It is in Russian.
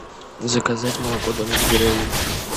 заказать молоко домик в деревне